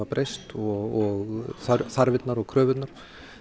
breyst og þarfirnar og kröfurnar